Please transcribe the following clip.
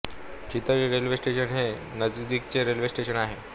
चितळी railway station हे नजीकचे railway station आहे